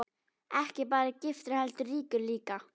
Ekki bara giftur heldur ríkur líka.